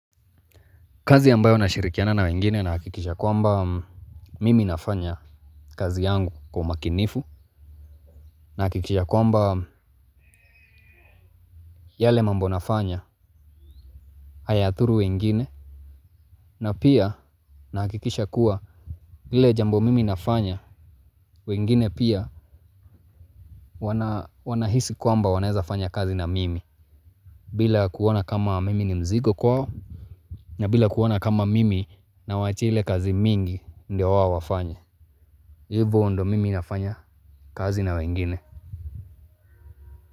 Kazi ambayo nashirikiana na wengine nahakikisha kwamba mimi nafanya kazi yangu kwa umakinifu. Nahakikisha kwamba yale mambo nafanya hayadhuru wengine. Na pia nahakikisha kuwa ile jambo mimi nafanya wengine pia wanahisi kwamba wanaeza fanya kazi na mimi. Bila kuona kama mimi ni mzigo kwao na bila kuona kama mimi nawaachia ile kazi mingi ndio wao wafanye. Hivo ndo mimi nafanya kazi na wengine.